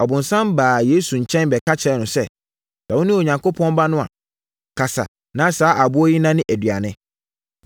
Ɔbonsam baa Yesu nkyɛn bɛka kyerɛɛ no sɛ, “Sɛ wone Onyankopɔn Ba no a, ka na saa aboɔ yi nnane aduane.”